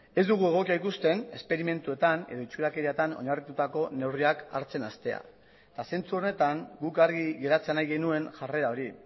ez dugu egokia ikusten esperimentuetan edo itxurakerietan oinarritutako neurriak hartzen hastea eta zentzu horretan guk argi geratzea nahi genuen jarrera hori